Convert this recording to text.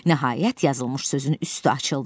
Nəhayət, yazılmış sözün üstü açıldı.